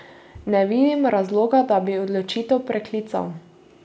Ne vidim razloga, da bi odločitev preklical.